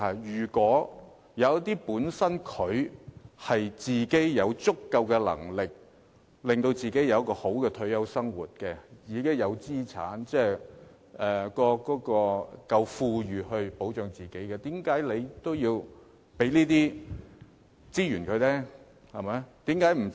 如果長者本身有足夠能力令自己過較好的退休生活，自己有資產，能保障自己，為何還要把資源分配給他呢？